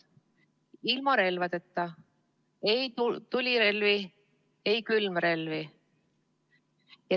Ilma relvadeta – ei tulirelvi, ei külmrelvi.